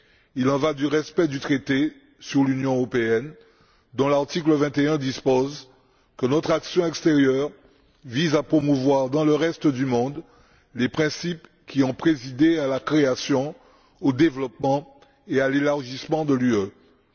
Il en va du respect du traité sur l'Union européenne, dont l'article 21 dispose que notre action extérieure vise à promouvoir dans le reste du monde les principes qui ont présidé à la création, au développement et à l'élargissement de l'Union européenne.